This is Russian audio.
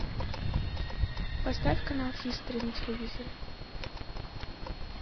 поставь канал хистори на телевизоре